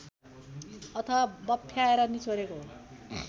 अथवा बफ्याएर निचोरेको